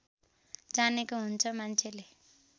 जानेको हुन्छ मान्छेले